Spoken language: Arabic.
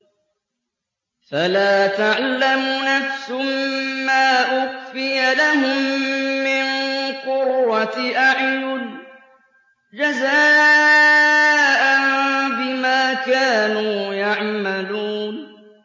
فَلَا تَعْلَمُ نَفْسٌ مَّا أُخْفِيَ لَهُم مِّن قُرَّةِ أَعْيُنٍ جَزَاءً بِمَا كَانُوا يَعْمَلُونَ